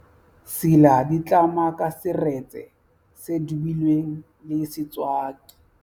sila ditlama ka seretse se dubilweng le setswaki